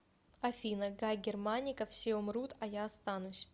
афина гай германика все умрут а я останусь